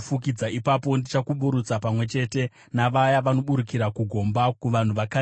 ipapo ndichakuburutsa pamwe chete navaya vanoburukira kugomba, kuvanhu vakarekare.